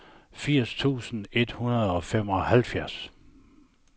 firs tusind et hundrede og femoghalvfjerds